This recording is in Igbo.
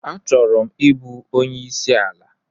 Achọrọ m ịbụ onye isi ala.